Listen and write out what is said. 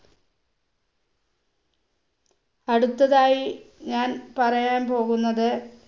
അടുത്തതായി ഞാൻ പറയാൻ പോകുന്നത്